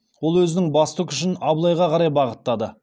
ол өзінің басты күшін абылайға қарай бағыттады